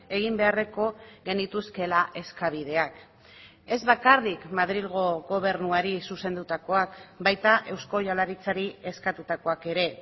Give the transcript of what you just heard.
egin beharreko genituzkeela eskabideak ez bakarrik madrilgo gobernuari zuzendutakoak baita eusko jaurlaritzari eskatutakoak ere